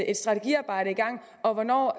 et strategiarbejde i gang og hvornår